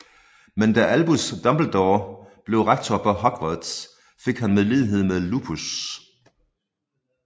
Men da Albus Dumbledore blev rektor på Hogwarts fik han medlidenhed med Lupus